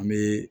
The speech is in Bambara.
An bɛ